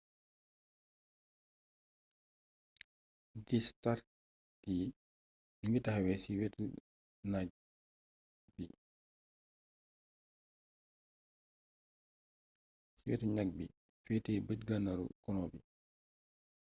niti stark yi ñu ngi taxaw ci wetu ñagg bi féete bëj gànnaaru colon bi